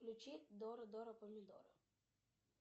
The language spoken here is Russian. включи дора дора помидора